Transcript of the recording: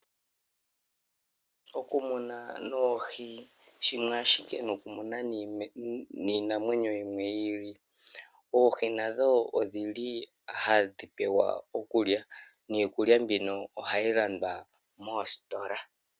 Okumuna oohi shimwe ashike nokumuna iinamwenyo yimwe yiili, noohi ohadhi pewa okulya niikulya hayi lwandwa koositola.